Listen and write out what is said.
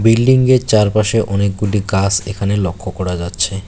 Building -এর চারপাশে অনেকগুলি গাছ এখানে লক্ষ করা যাচ্ছে।